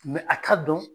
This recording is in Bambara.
a ka dɔn